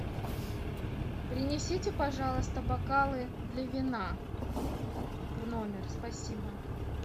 принесите пожалуйста бокалы для вина в номер спасибо